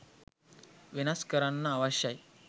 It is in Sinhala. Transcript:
වෙනස් කරන්න අවශ්‍යයි.